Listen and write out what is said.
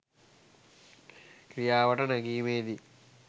ක්‍රියාවට නැගීමේ දී